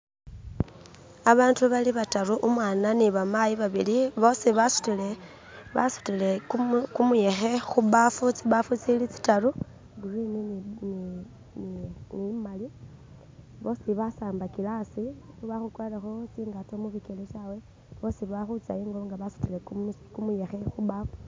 abantu balibataru umwana ni bamayi babili bosibasutile kumuyehe khubafu tsibafu tsili tsitalu iyagurini ni imali bosi basambakile asi bakhukwaraho tsingato tsawe bosi bakhutsengo nga basutile kumuyehe khubafu